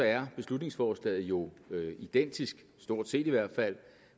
er beslutningsforslaget jo identisk stort set i hvert fald